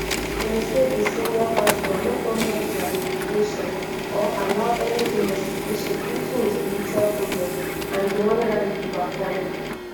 dem say di senior pastor no honour dia invitation or allow any investigation into im spiritual products and di wonder e dey perform.